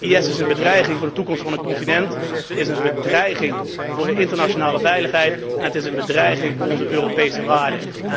IS is een bedreiging voor de toekomst van het continent, een bedreiging voor de internationale veiligheid en een bedreiging voor onze Europese waarden.